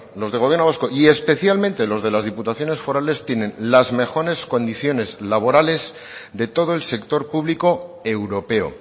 los del gobierno vasco y especialmente los de las diputaciones forales tienen las mejores condiciones laborales de todo el sector público europeo